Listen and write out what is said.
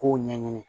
K'o ɲɛɲini